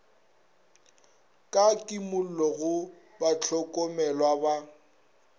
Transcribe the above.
ka kimollo go bahlokomelwa ba